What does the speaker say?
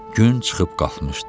Gün çıxıb qalxmışdı.